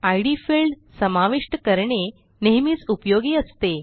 इद field समाविष्ट करणे नेहमीच उपयोगी असते